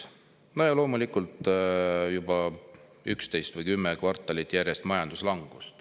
No ja loomulikult on meil juba 11 või 10 kvartalit järjest majanduslangus.